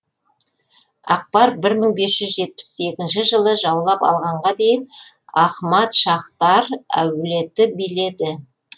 акбар бір мың бес жүз жетпіс екінші жылы жаулап алғанға дейін ахмад шаһтар әулеті биледі